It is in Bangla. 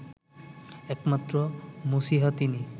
একমাত্র মসিহা তিনি